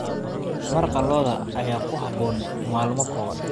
Maraqa lo'da ayaa ku habboon maalmo qabow.